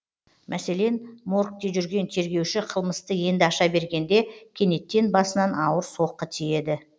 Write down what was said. мәселен моргте жүрген тергеуші қылмысты енді аша бергенде кенеттен басынан ауыр соққы тиеді